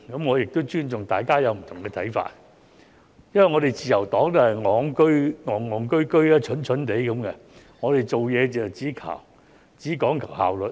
我亦尊重大家有不同看法，因為自由黨也是"戇戇居居"、"蠢蠢地"，我們做事只講求效率。